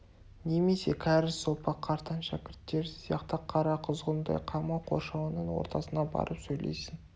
немесе кәрі сопы қартаң шәкірттері сияқты қара құзғындай қамау қоршауының ортасына барып сөйлейсің